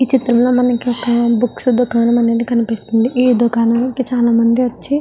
ఈ చిత్రంలో మనకి ఒక బుక్స్ దుకాణం అనేది కనిపిస్తుంది ఈ దుకాణానికి చాలా మంది వచ్చి --